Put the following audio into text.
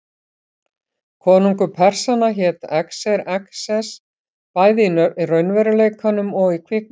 Konungur Persanna hét Xerxes, bæði í raunveruleikanum og í kvikmyndinni.